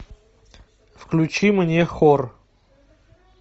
включи мне хор